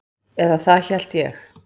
Eða það hélt ég.